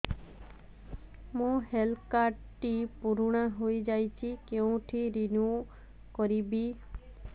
ମୋ health card ଟି ପୁରୁଣା ହେଇଯାଇଛି କେଉଁଠି ରିନିଉ କରିବି